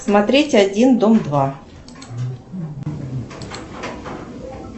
смотреть один дом два